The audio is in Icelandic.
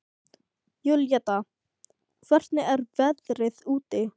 Júlíetta, hvernig er veðrið úti?